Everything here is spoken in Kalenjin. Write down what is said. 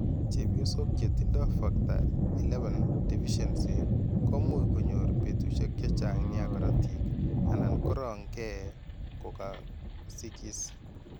Cheebyosok chetindo factor XI deficiency ko much kony'or betusiek che chang' nia korotiik anan korong' kee ko ka sikis .